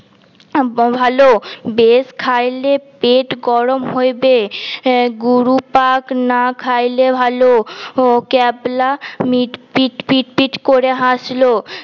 ভাল বেশী খাইলে পেট গরম হইবে গুরু পাক না খাইলে ভাল ক্যাবলা মিট ফিছ ফিছ করে হাসল